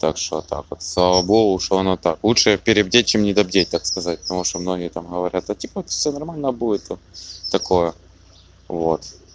так что вот так вот слава богу что она так лучше перебдеть чем недобдеть так сказать потому что многие там говорят да типа всё нормально будет такое вот